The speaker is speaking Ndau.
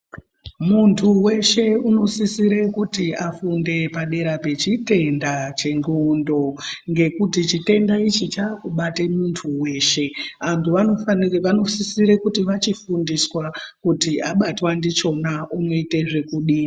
Muntu weshe unosisire kuti afunde padera pechitenda chendxondo ngekuti chitenda ichi chakubate muntu weshe. Vantu vanosisire kuti vachifundiswa kuti abatwa ndichona anoite kudini.